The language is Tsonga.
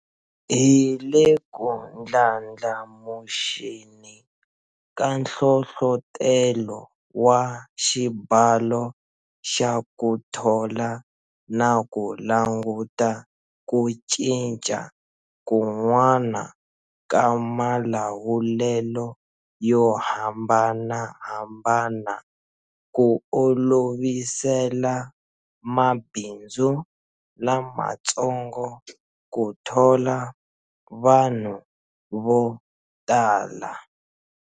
Hi le ku ndlandlamuxeni ka nhlohlotelo wa xibalo xa ku thola na ku languta ku cinca kun'wana ka malawulelo yo hambanahambana ku olovisela mabindzu lamatsongo ku thola vanhu vo tala.